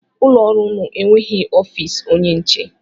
Ụlọọrụ unu enweghị ofiisi onye nche?